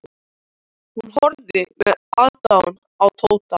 Hún horfði með aðdáun á Tóta.